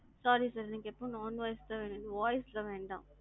sorry sir எனக்கு non voice process தான் வேணும். voice வேண்டாம்.